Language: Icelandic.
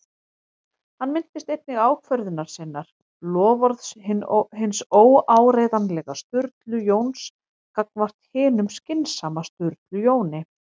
Hann minnist einnig ákvörðunar sinnar- loforðs hins óáreiðanlega Sturlu Jóns gagnvart hinum skynsama Sturlu Jóni